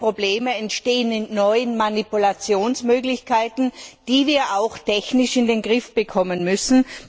Die neuen Probleme entstehen in neuen Manipulationsmöglichkeiten, die wir auch technisch in den Griff bekommen müssen.